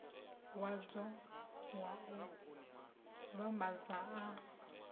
wadzo wa u vhambadza a